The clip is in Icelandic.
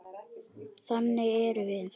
Þannig erum við.